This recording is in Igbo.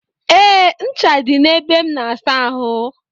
E, ncha dị na ebe m na-asa ahụ.